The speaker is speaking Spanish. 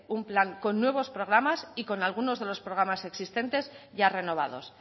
un plan con nuevos programas y con algunos de los programas existentes ya renovados